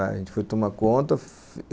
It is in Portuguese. A gente foi tomar conta.